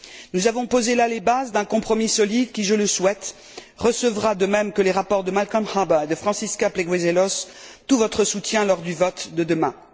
Nous avons posé là les bases d'un compromis solide qui, je le souhaite, recevra, de même que les rapports de Malcolm Harbour et de Francisca Pleguezuelos, tout votre soutien lors du vote de demain.